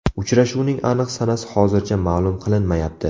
Uchrashuvning aniq sanasi hozircha ma’lum qilinmayapti.